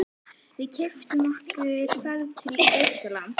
Við keyptum okkur ferð til Egyptalands.